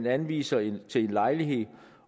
anvises en lejlighed